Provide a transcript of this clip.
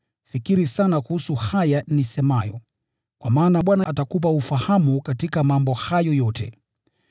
Fikiri sana kuhusu haya nisemayo, kwa maana Bwana atakupa ufahamu katika mambo hayo yote.